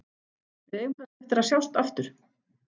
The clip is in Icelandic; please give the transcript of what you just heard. Við eigum kannski eftir að sjást aftur.